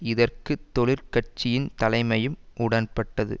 இதற்கு தொழிற் கட்சியின் தலைமையும் உடன்பட்டது